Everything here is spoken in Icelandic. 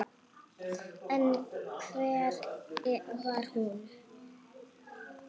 En hver var hún?